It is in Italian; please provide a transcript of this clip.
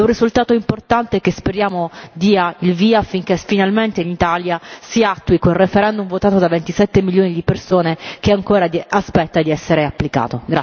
È un risultato importante, che speriamo dia il via affinché finalmente in Italia si applichi il referendum votato da 27 milioni di persone che ancora aspetta di essere applicato.